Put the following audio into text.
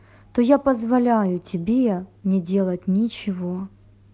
то я позволяю тебе не делать ничего